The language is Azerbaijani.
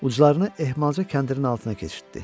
Uclarını ehmalca kəndirin altına keçirtdi.